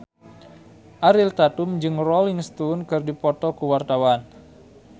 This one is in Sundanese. Ariel Tatum jeung Rolling Stone keur dipoto ku wartawan